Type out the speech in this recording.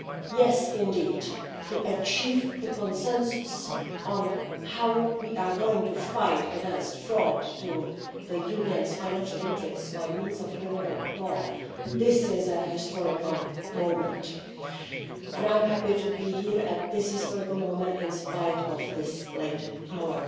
Yes, to achieve the consensus on how we are going to fight against fraud against the Union's financial interests by means of criminal law, this is a historical moment. I am happy to be here at this historical moment in spite of the late hour.